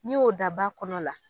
N'i y'o da ba kɔnɔ la.